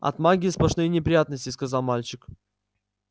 от магии сплошные неприятности сказал мальчик